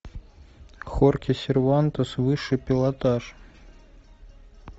хорхе сервантес высший пилотаж